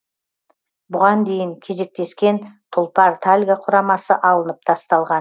бұған дейін кезектескен тұлпар тальго құрамасы алынып тасталған